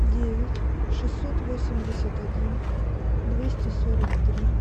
девять шестьсот восемьдесят один двести сорок три